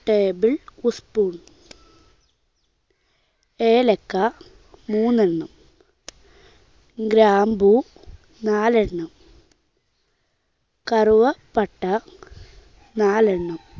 Table spoon. ഏലക്ക മൂന്നെണ്ണം. ഗ്രാമ്പൂ നാല് എണ്ണം. കറുവാപ്പട്ട നാല് എണ്ണം.